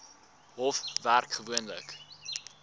hof werk gewoonlik